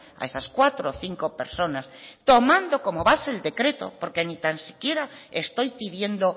a esas cuatro cinco personas tomando como base el decreto porque ni tan siquiera estoy pidiendo